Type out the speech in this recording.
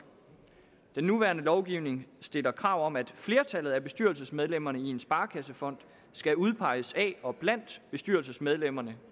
den nuværende lovgivning stiller krav om at flertallet af bestyrelsesmedlemmerne i en sparekassefond skal udpeges af og blandt bestyrelsesmedlemmerne